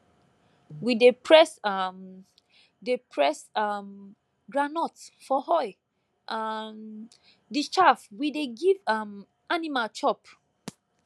we dey press um dey press um groundnut for oil um the chaff we dey give um animal chop